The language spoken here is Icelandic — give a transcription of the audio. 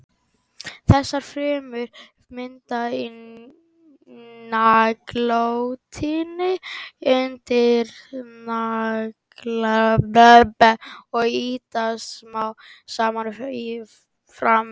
Þessar frumur myndast í naglrótinni undir naglabandinu og ýtast smám saman fram á við.